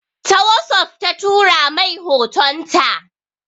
Ta wossof ta tura mai hotonta.